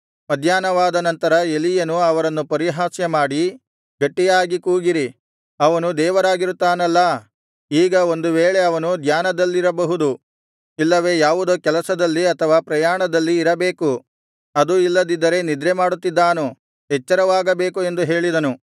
ಮಧ್ಯಾಹ್ನವಾದನಂತರ ಎಲೀಯನು ಅವರನ್ನು ಪರಿಹಾಸ್ಯ ಮಾಡಿ ಗಟ್ಟಿಯಾಗಿ ಕೂಗಿರಿ ಅವನು ದೇವರಾಗಿರುತ್ತಾನಲ್ಲಾ ಈಗ ಒಂದು ವೇಳೆ ಅವನು ಧ್ಯಾನದಲ್ಲಿರಬಹುದು ಇಲ್ಲವೇ ಯಾವುದೋ ಕೆಲಸದಲ್ಲಿ ಅಥವಾ ಪ್ರಯಾಣದಲ್ಲಿ ಇರಬೇಕು ಅದೂ ಇಲ್ಲದಿದ್ದರೆ ನಿದ್ರೆಮಾಡುತ್ತಿದ್ದಾನು ಎಚ್ಚರವಾಗಬೇಕು ಎಂದು ಹೇಳಿದನು